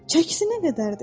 Çəkisi nə qədərdir?